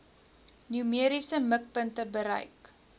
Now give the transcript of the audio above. numeriese mikpunte bereik